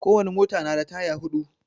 Kowane mota na da taya huɗu